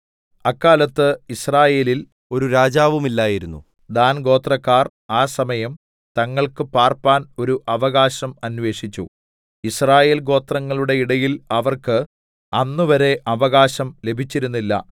അക്കാലത്ത് യിസ്രായേലിൽ ഒരു രാജാവുമില്ലായിരുന്നു ദാൻഗോത്രക്കാർ ആ സമയം തങ്ങൾക്ക് പാർപ്പാൻ ഒരു അവകാശം അന്വേഷിച്ചു യിസ്രായേൽ ഗോത്രങ്ങളുടെ ഇടയിൽ അവർക്ക് അന്നുവരെ അവകാശം ലഭിച്ചിരുന്നില്ല